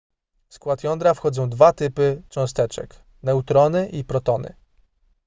w skład jądra wchodzą dwa typy cząsteczek neutrony i protony